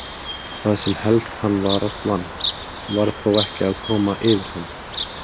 Það sem helst hann varast vann, varð þó að koma yfir hann.